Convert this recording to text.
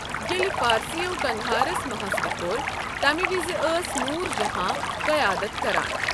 ییٚلہِ فارسِیو قند ہارس محاصرٕ كوٚر، تمہِ وِزِ ٲس نوٗر جہاں قیادت كران ۔